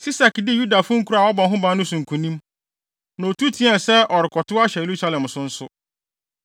Sisak dii Yudafo nkurow a wɔabɔ ho ban no so nkonim, na otu teɛɛ sɛ ɔrekɔtow ahyɛ Yerusalem so nso.